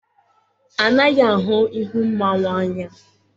A naghị ahụ ihu mmanwụ anya.